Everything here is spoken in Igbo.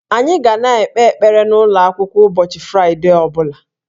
Anyị ga na-ekpe ekpere n'ụlọ akwụkwọ ụbọchị Fraịdee ọ bụla